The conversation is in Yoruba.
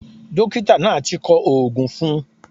Dókítà náà ti kọ oògùn fun un